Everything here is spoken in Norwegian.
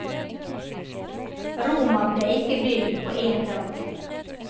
Roma ble ikke bygd på en dag.